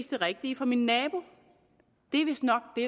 det rigtige for min nabo det er vistnok det